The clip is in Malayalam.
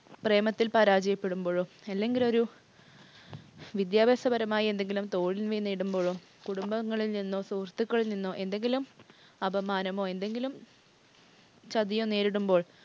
പ്രേമത്തിൽ പരാജയപ്പെടുമ്പോഴോ, അല്ലെങ്കിലൊരു വിദ്യാഭ്യാസ പരമായി എന്തെങ്കിലും തോൽവി നേരിടുമ്പോഴോ, കുടുംബങ്ങളിൽ നിന്നോ, സുഹൃത്തുക്കളിൽ നിന്നോ എന്തെങ്കിലും അപമാനമോ എന്തെങ്കിലും ചതിയൊ നേരിടുമ്പോൾ